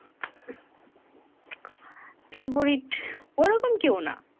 favourite ঐ রকম কেও না